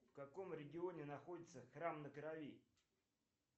в каком регионе находится храм на крови